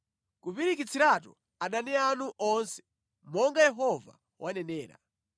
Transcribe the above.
kupirikitsiratu adani anu onse, monga Yehova wanenera.